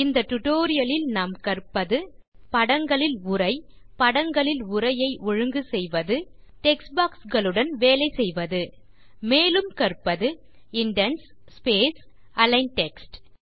இந்த டுடோரியலில் நாம் கற்பது படங்களில் உரை படங்களில் உரையை ஒழுங்கு செய்வது டெக்ஸ்ட் பாக்ஸ் களுடன் வேலை செய்வது மேலும் கற்பது இண்டென்ட்ஸ் ஸ்பேஸ் அலிக்ன் டெக்ஸ்ட்